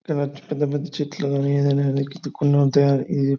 ఇలాంటి పెద్ద పెద్ద చెట్లు గాని ఏదైనా ఇది--